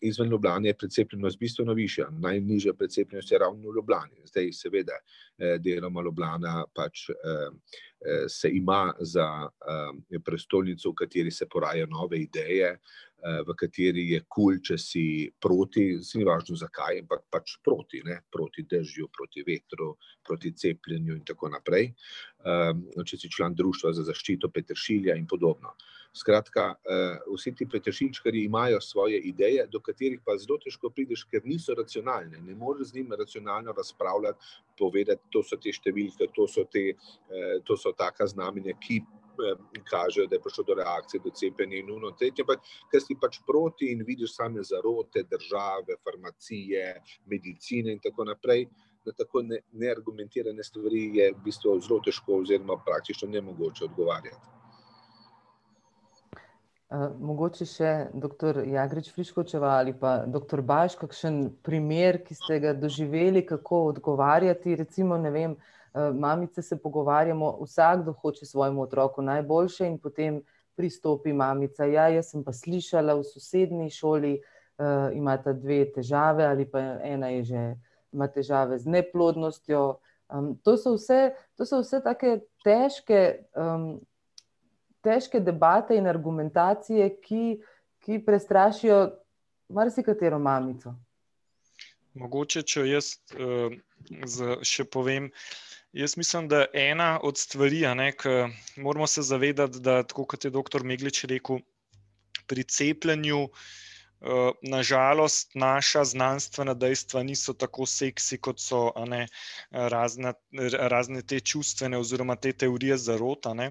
izven Ljubljane je precepljenost bistveno višja, najnižja precepljenost je ravno v Ljubljani, zdaj seveda ... Deloma Ljubljana se pač se ima za prestolnico, v kateri se porajajo nove ideje, v kateri je kul, če si proti, saj ni važno zakaj, ampak pač proti, ne, proti dežju, proti vetru, proti cepljenju in tako naprej. Če si član društva za zaščito peteršilja in podobno. Skratka, vsi ti petršiljčkarji imajo svoje ideje, do katerih pa zelo težko prideš, kar niso racionalne, ne moreš z njim racionalno razpravljati, povedati: to so te številke, to so te, to so taka znamenja, ki kažejo, da je prišlo do reakcije, do cepljenja in ono, tretje. Ker si pač proti in vidiš same zarote, države, farmacije, medicine in tako naprej, na tako neargumentirane stvari je v bistvu zelo težko oziroma praktično nemogoče odgovarjati. Mogoče še doktor Jagrič Friškovčeva ali pa doktor Baš, kakšen primer, ki ste ga doživeli, kako odgovarjati, recimo ne vem, mamice se pogovarjamo, vsakdo hoče svojemu otroku najboljše in potem pristopi mamica, ja, jaz sem pa slišala v sosednji šoli, imata dve težave ali pa ena je že, ima težave z neplodnostjo. To so vse, to so vse take težke, težke debate in argumentacije, ki ki prestrašijo marsikatero mamico. Mogoče, če jaz z še povem. Jaz mislim, da ena od stvari, a ne, ke moramo se zavedati, da tako kot je doktor Meglič rekel, pri cepljenju na žalost naša znanstvena dejstva niso tako seksi, kot so a ne razna, razne te čustvene oziroma te teorije zarot, a ne,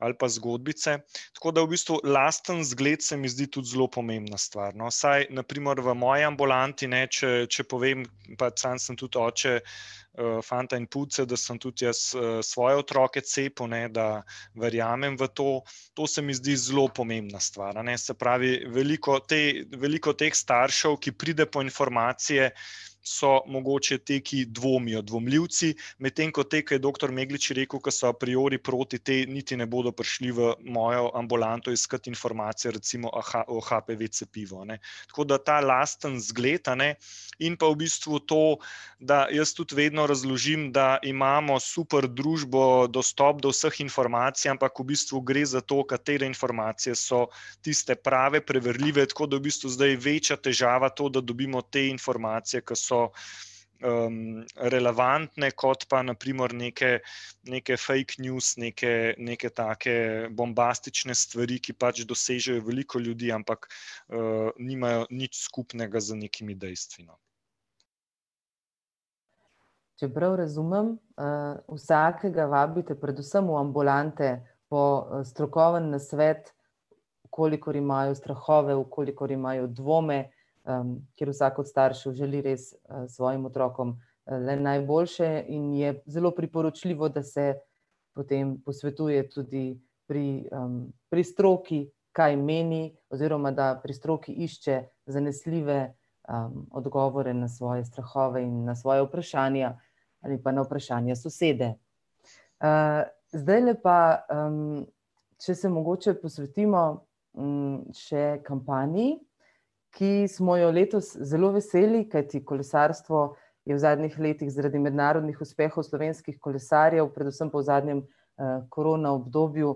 ali pa zgodbice. Tako da v bistvu lasten zgled se mi zdi tudi zelo pomembna stvar, no, saj na primer v moji ambulanti, ne, če, če povem, pa sam sem tudi oče fanta in punce, da sem tudi jaz svoje otroke cepil, ne, da verjamem v to. To se mi zdi zelo pomembna stvar, a ne, se pravi veliko te, veliko teh staršev, ki pride po informacije, so mogoče ti, ki dvomijo, dvomljivci, medtem ko te, ke je doktor Meglič rekel, ko so priori proti, ti niti ne bodo prišli v mojo ambulanto iskat informacije recimo o HPV cepivu, ne. Tako da ta lasten zgled, a ne, in pa v bistvu to, da jaz tudi vedno razložim, da imamo super družbo, dostop do vseh informacij, ampak v bistvu gre za to, katere informacije so tiste prave, preverljive, tako da v bistvu zdaj večja težava to, da dobimo te informacije, ki so relevantne kot pa na primer neke neke fake news, neke neke take bombastične stvari, ki pač dosežejo veliko ljudi, ampak nimajo nič skupnega z nekimi dejstvi, no. Če prav razumem vsakega vabite predvsem v ambulante po strokovni nasvet, v kolikor imajo strahove, v kolikor imajo dvome, ker vsak od staršev želi res svojim otrokom le najboljše in je zelo priporočljivo, da se potem posvetuje tudi pri pri stroki, kaj meni, oziroma da pri stroki išče zanesljive odgovore na svoje strahove in na svoje vprašanja ali pa na vprašanja sosede. Zdajle pa če se mogoče posvetimo še kampanji, ki smo jo letos zelo veseli, kajti kolesarstvo je v zadnjih letih zaradi mednarodnih uspehov slovenskih kolesarjev, predvsem pa v zadnjem korona obdobju,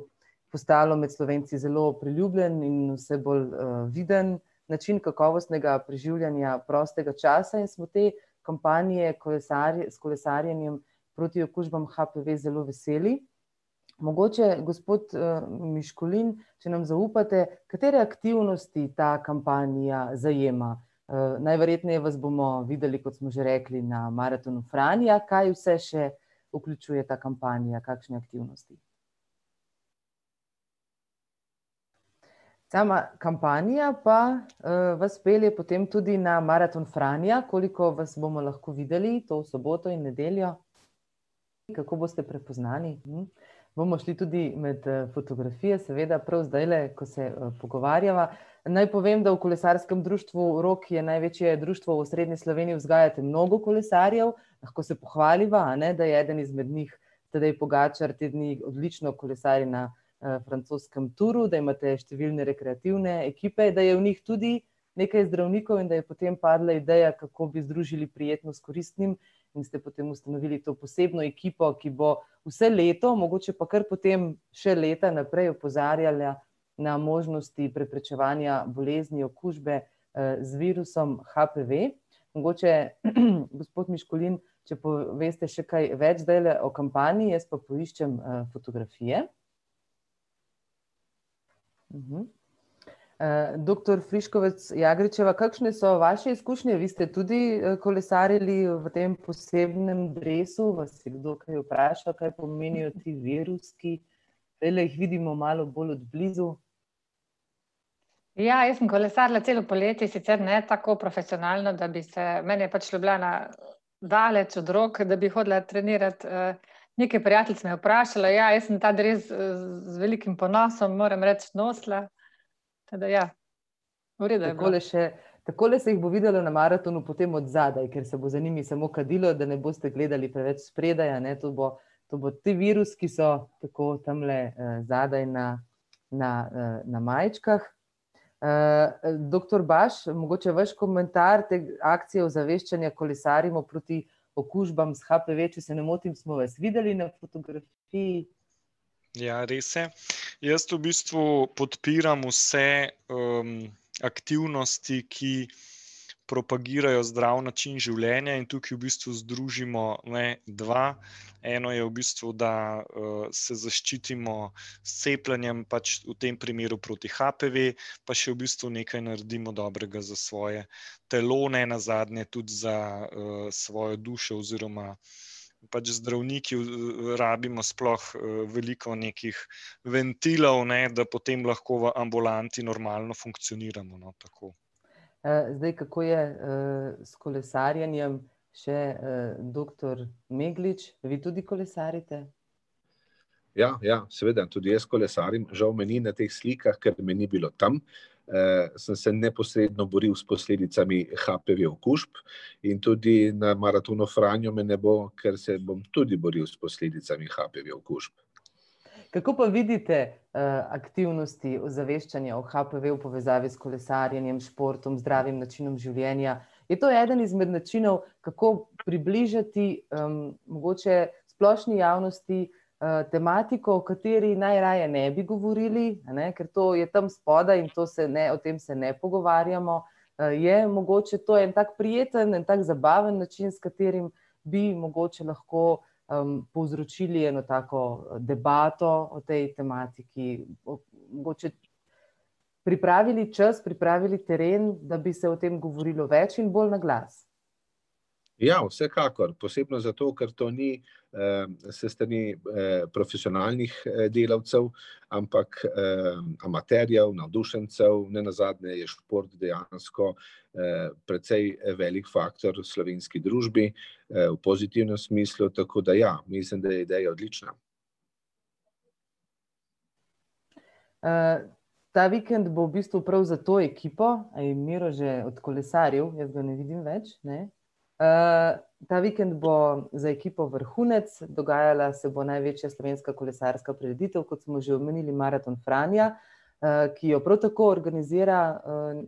postalo med Slovenci zelo priljubljen in vse bolj viden način kakovostnega preživljanja prostega časa in smo te kampanje s kolesarjenjem proti okužbam HPV zelo veseli. Mogoče, gospod Miškolin, če nam zaupate, katere aktivnosti ta kampanja zajema? Najverjetneje vas bomo videli, kot smo že rekli, na Maratonu Franja, kaj vse še vključuje ta kampanja, kakšne aktivnosti? Sama kampanja pa vas pelje potem tudi na Maraton Franja, koliko vas bomo lahko videli to soboto in nedeljo? Kako boste prepoznali? Bomo šli tudi med fotografije, seveda prav zdajle, ko se pogovarjava. Naj povem, da v kolesarskem društvu Rog, je največje društvo v osrednji Sloveniji, vzgajate mnogo kolesarjev, lahko se pohvaliva, a ne, da je eden izmed njih, Tadej Pogačar, te dni odlično kolesaril na francoskem Touru, a imate številne rekreativne ekipe, da je v njih tudi nekaj zdravnikov in da je potem padla ideja, kako bi združili prijetno s koristnim. In ste potem ustanovili to posebno ekipo, ki bo vse leto mogoče pa kar potem še leta naprej opozarjala na možnosti preprečevanja bolezni okužbe z virusom HPV. Mogoče gospod Miškulin, če poveste še kaj več zdajle o kampanji, jaz pa poiščem fotografije. Doktor Friškovec Jagričeva, kakšne so vaše izkušnje, vi ste tudi kolesarili v tem posebnem dresu, vas je kdo kaj vprašal, kaj pomenijo ti viruski? Zdajle jih vidimo malo bolj od blizu. Ja, jaz sem kolesarila celo poletje, sicer ne tako profesionalno, da bi se, meni je pač Ljubljana daleč od rok, da bi hodila trenirat Nekaj prijateljic me je vprašalo, ja, jaz sem ta dres z velikim ponosom, moram reči, nosila. Tako da ja. V redu je bilo. Takole še, takole se jih bo videlo na maratonu potem od zadaj, ker se bo za njimi samo kadilo, da ne boste gledali preveč spredaj, a ne, to bo, to bo, ti viruski so tako tamle zadaj na na na majčkah. Doktor Baš, mogoče vaš komentar te akcije ozaveščanja Kolesarimo proti okužbam s HPV, če se ne motim, smo vas videli na fotografiji. Ja, res je. Jaz v bistvu podpiram vse aktivnosti, ki propagirajo zdrav način življenja in tukaj v bistvu razložimo, ne, dva. Eno je v bistvu, da se zaščitimo s cepljenjem, pač v tem primeru proti HPV, pa še v bistvu nekaj naredimo dobrega za svoje telo, nenazadnje tudi za svojo dušo, oziroma pač zdravniki rabimo sploh veliko nekih ventilov, ne, da potem lahko v ambulanti normalno funkcioniramo, no, tako. Zdaj kako je s kolesarjenjem, še doktor Meglič, vi tudi kolesarite? Ja, ja, seveda, tudi jaz kolesarim, žal me ni na teh slikah, ker me ni bilo tam. Sem se neposredno boril s posledicami HPV okužb in tudi na Maratonu Franja me ne bo, ker se bom tudi boril s posledicami HPV okužb. Kako pa vidite aktivnosti ozaveščanja o HPV v povezavi s kolesarjenjem, športom, zdravim načinom življenja? Je to eden izmed načinov, kako približati mogoče splošni javnosti tematiko, o kateri najraje ne bi govorili, a ne, ker to je tam spodaj in to se ne, o tem se ne pogovarjamo. Je mogoče to en tak prijeten, en tak zabaven način, s katerim bi mogoče lahko povzročili eno tako debato o tej tematiki, o, mogoče ... Pripravili čas, pripravili teren, da bi se o tem govorilo več in bolj na glas. Ja, vsekakor, posebno zato, ker to ni profesionalnih delavcev, ampak amaterjev, navdušencev, nenazadnje je šport dejansko precej velik faktor v slovenski družbi v pozitivnem smislu, tako da ja, mislim, da je ideja odlična. Ta vikend bo v bistvu prav za to ekipo, a je Miro že odkolesaril? Jaz ga ne vidim več, ne. Ta vikend bo za ekipo vrhunec, dogajala se bo največja slovenska kolesarska prireditev, kot smo že omenili, Maraton Franja, ki ji jo prav tako organizira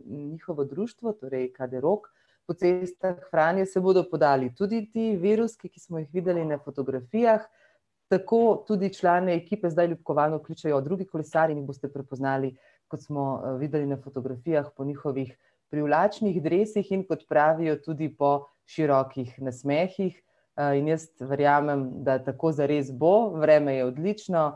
njihovo društvo, torej KD Rog. Po cestah Franje se bodo podali tudi viruski, ki smo jih videli na fotografijah. Tako tudi člane ekipe zdaj ljubkovalno kličejo drugi kolesarji in jih boste prepoznali, kot smo videli na fotografijah, po njihovih privlačnih dresih, in kot pravijo, tudi po širokih nasmehih. In jaz verjamem, da tako zares bo, vreme je odlično,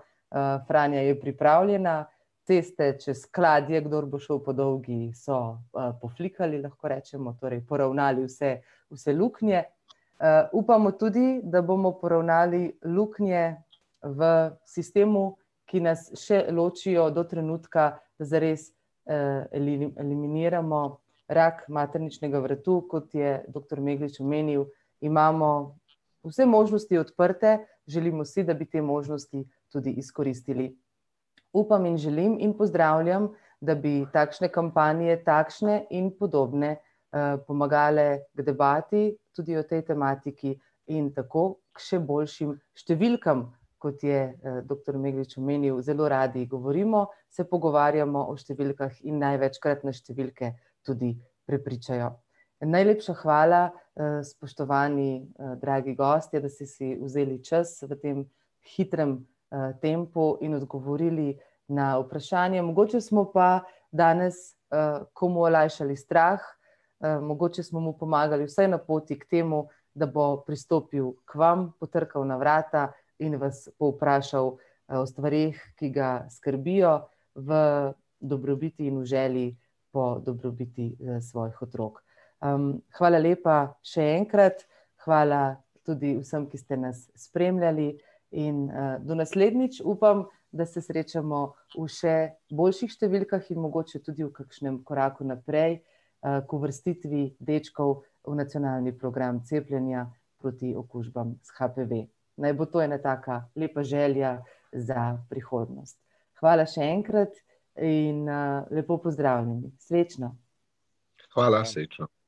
Franja je pripravljena, ceste čez Kladje, kdor bo šel po dolgi, so poflikali, lahko rečemo, torej poravnali vse, vse luknje. Upamo tudi, da bomo poravnali luknje v sistemu, ki nas še ločijo do trenutka zares, eliminiramo rak materničnega vratu, kot je doktor Meglič omenil, imamo vse možnosti odprte, želimo si, da bi te možnosti tudi izkoristili. Upam in želim in pozdravljam, da bi takšne kampanje, takšne in podobne, pomagale k debati, tudi o tej tematiki in tako k še boljšim številkami, kot je doktor Meglič omenil, zelo radi govorimo, se pogovarjamo o številkah in največkrat nas številke tudi prepričajo. Najlepša hvala, spoštovani, dragi gostje, da ste si vzeli čas v tem hitrem tempu in odgovorili na vprašanja, mogoče smo pa danes komu olajšali strah, mogoče smo mu pomagali vsaj na poti k temu, da bo pristopil k vam, potrkal na vrata in vas povprašal o stvareh, ki ga skrbijo v dobrobiti in v želji po dobrobiti svojih otrok. Hvala lepa, še enkrat. Hvala tudi vsem, ki ste na spremljali, in do naslednjič, upam, da se srečamo v še boljših številkah in mogoče tudi v kakšnem koraku naprej k uvrstitvi dečkov v nacionalni program cepljenja proti okužbam s HPV. Naj bo to ena taka lepa želja za prihodnost. Hvala še enkrat in lepo pozdravljeni, srečno. Hvala, srečno.